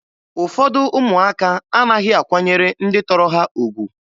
Ụfọdụ ụmụaka anaghị akwanyere ndị tọrọ ha ugwu.